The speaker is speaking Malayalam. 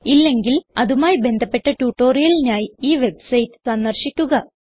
ഇല്ലെങ്കിൽ അതുമായി ബന്ധപ്പെട്ട ട്യൂട്ടോറിയലിനായി ഈ വെബ്സൈറ്റ് സന്ദർശിക്കുക